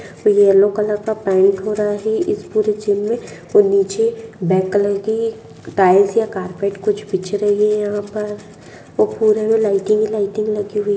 yellow colour का paint हो रहा है इस पूरे जिम मे पुरे दिन में और निचे ब्लैक कलर की टाइल्स या कारपेट कुछ बिछ रही हैं यहां पर लाइटिंग लाइटिंग लगी हुई है |